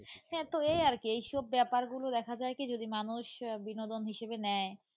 হ্যাঁ তো এই আর কি এই সব ব্যাপারগুলো দেখা যায় কি যদি মানুষ বিনোদন হিসেবে নেয়.